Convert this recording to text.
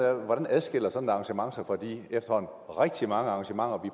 er hvordan adskiller sådan et arrangement sig fra de efterhånden rigtig mange arrangementer vi